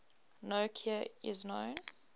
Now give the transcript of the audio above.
no cure is known